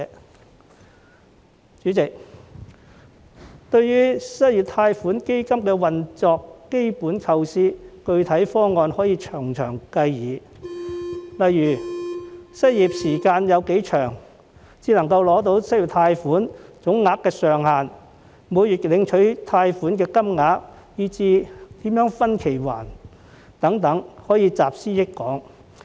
代理主席，關於失業貸款基金的運作，其基本構思和具體方案可以從長計議，例如失業時間多長才可以申領失業貸款、貸款總額上限、每月領取的貸款金額，以至如何分期償還等，都可以集思廣益。